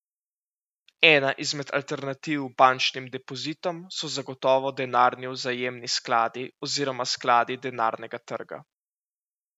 Ena izmed alternativ bančnim depozitom so zagotovo denarni vzajemni skladi oziroma skladi denarnega trga.